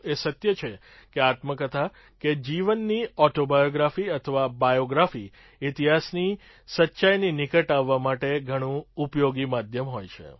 એ સત્ય છે કે આત્મકથા કે જીવની ઑટોબાયોગ્રાફી અથવા બાયૉગ્રાફી ઇતિહાસની સચ્ચાઈની નિકટ આવવા માટે ઘણું ઉપયોગી માધ્યમ હોય છે